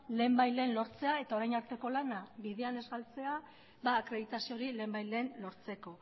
lehenbailehen lortzea eta orain arteko lana bidean ez galtzea akreditazio hori lehenbailehen lortzeko